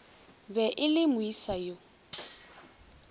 be e le moesa yo